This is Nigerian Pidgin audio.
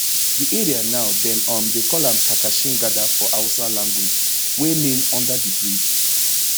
di area now dem um dey call am karkashin gada for hausa language wey mean under di bridge